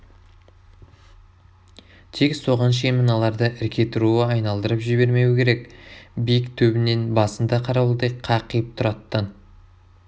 тек соған шейін мыналарды ірке тұруы айналдырып жібермеуі керек биік төбінең басында қарауылдай қақиып тұр аттан